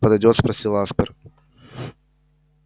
подойдёт спросил аспер